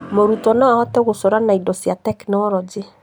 Mũrutwo no ahote gũcora na indo cia tekinoronjĩ